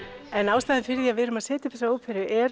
ástæðan fyrir því að við erum að setja upp þessa óperu er